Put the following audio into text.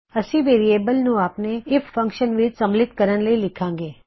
ਅਸੀ ਵੇਅਰਿਏਬਲ ਨੂੰ ਆਪਣੇ ਆਈਐਫ ਫੰਕਸ਼ਨ ਵਿੱਚ ਸਮਲਿਤ ਕਰਣ ਲਈ ਲਿੱਖਾਂ ਗੇ